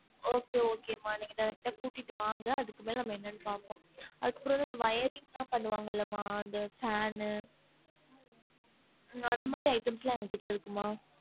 Okay okay மா நீங்க direct ஆ கூட்டிட்டு வாங்க அதுக்கு மேல நம்ம என்னனு பாப்போம் அதுக்கு அப்ரோ இந்த wiring லா பண்ணுவாங்கள மா இந்த fan ன்னு அந்த மாதிரி items லா எங்ககிட்ட இருக்கு மா